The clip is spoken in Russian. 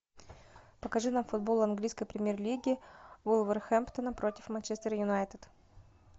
покажи нам футбол английской премьер лиги вулверхэмптона против манчестер юнайтед